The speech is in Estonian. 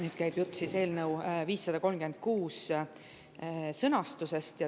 Nüüd käib jutt eelnõu 536 sõnastusest.